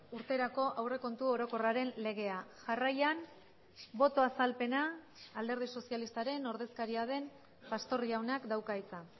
urterako aurrekontu orokorraren legea jarraian boto azalpena alderdi sozialistaren ordezkaria den pastor jaunak dauka hitza